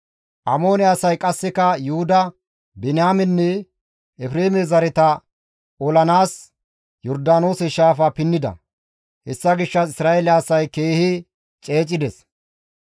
Amoone asay qasseka Yuhuda, Biniyaamenne Efreeme zareta olanaas Yordaanoose shaafa pinnida; hessa gishshas Isra7eele asay keehi ceecides.